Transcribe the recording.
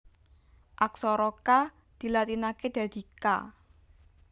Aksara Ka dilatinaké dadi Ka